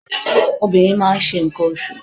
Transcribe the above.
Obìnrin máa ń ṣe nǹkan oṣù.